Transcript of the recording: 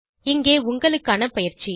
இங்கே உங்களுக்கான பயிற்சி